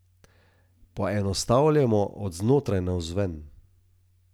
Poenostavljamo od znotraj navzven.